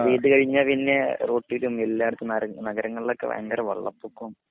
മഴപെയ്തകഴിഞ്ഞ പിന്നെ റോട്ടിലും എല്ലാടത്തും നര നഗരങ്ങളിൽ ഒക്കെ വയങ്കര വളള്ളപ്പൊക്കോം